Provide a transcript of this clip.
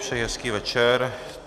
Přeji hezký večer.